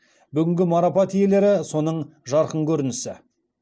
бүгінгі марапат иелері соның жарқын көрінісі